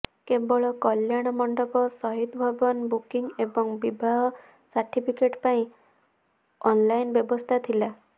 କେବଳ କଲ୍ୟାଣ ମଣ୍ଡପ ସହିଦଭବନ ବୁକିଂ ଏବଂ ବିବାହ ସାର୍ଟିଫିକେଟ୍ ପାଇଁ ଅନଇନ୍ ବ୍ୟବସ୍ଥା ଥିଲା